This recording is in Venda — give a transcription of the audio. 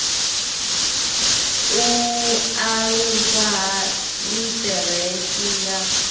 u aluswa ha litheresi ya